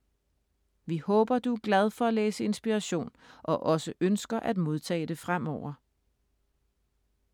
Vi håber, du er glad for at læse Inspiration og også ønsker at modtage det fremover.